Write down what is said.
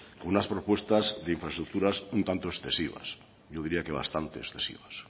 con unas propuestas de infraestructuras un tanto excesivas yo diría que bastante excesivas